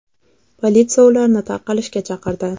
Politsiya ularni tarqalishga chaqirdi.